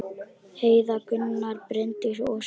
Heiða, Gunnar, Bryndís og Svanur.